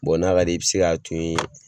Bɔn n'a ka d'i ye i be se ka to yen